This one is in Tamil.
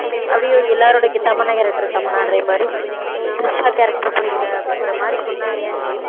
அப்படி எல்லாருடைய தமன்னா character தமன்னான்ற பாரு த்ரிஷா character புரியலை அப்படின்ற மாதிரி சொன்னாங்க